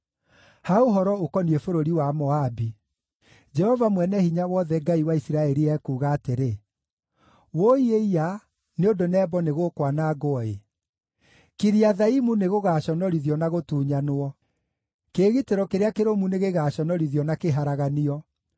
Ha ũhoro ũkoniĩ bũrũri wa Moabi: Jehova Mwene-Hinya-Wothe, Ngai wa Isiraeli ekuuga atĩrĩ: “Wũi-ĩiya, nĩ ũndũ Nebo nĩgũkwanangwo-ĩ. Kiriathaimu nĩgũgaconorithio na gũtunyanwo; kĩĩgitĩro kĩrĩa kĩrũmu nĩgĩgaconorithio na kĩharaganio.